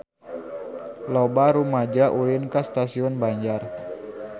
Loba rumaja ulin ka Stasiun Banjar